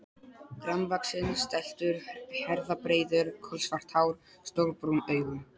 Grannvaxinn, stæltur, herðabreiður, kolsvart hár, stór brún augu.